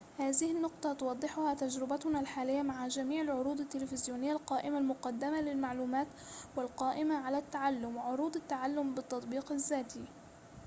هذه النقطة توضحها تجربتُنا الحالية مع جميع العروض التلفزيونية القائمة المقدمة للمعلومات والقائمة على التعلم وعروض التعلم بالتطبيق الذاتي